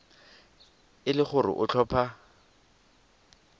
e le gore o tlhopha